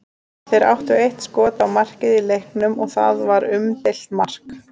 Þeir áttu eitt skot á markið í leiknum og það var umdeilt mark.